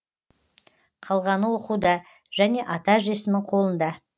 қалғаны оқуда және ата әжесінің қолында